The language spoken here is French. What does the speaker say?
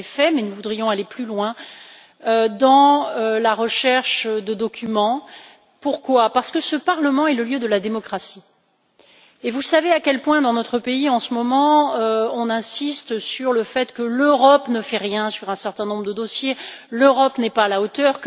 Vous l'avez fait, mais nous voudrions aller plus loin dans la recherche de documents. Pourquoi? Parce que ce Parlement est le lieu de la démocratie et vous savez à quel point dans notre pays, en ce moment, on insiste sur le fait que l'Europe ne fait rien sur un certain nombre de dossiers, que l'Europe n'est pas à la hauteur.